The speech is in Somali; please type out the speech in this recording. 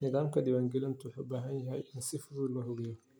Nidaamka diiwaangelintu waxa uu u baahan yahay in si fudud loo habeeyo.